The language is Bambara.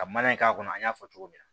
Ka mana in k'a kɔnɔ an y'a fɔ cogo min na